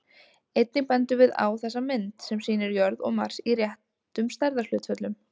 Einnig bendum við á þessa mynd, sem sýnir jörð og Mars í réttum stærðarhlutföllum.